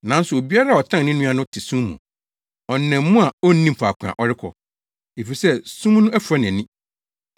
Nanso obiara a ɔtan ne nua no te sum mu. Ɔnam mu a onnim faako a ɔrekɔ, efisɛ sum no afura nʼani.